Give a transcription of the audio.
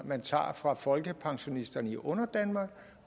man tager fra folkepensionisterne i underdanmark